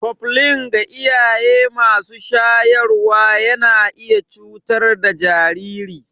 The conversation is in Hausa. Koflin ga iyaye masu shayarwa yana iya cutar da jariri.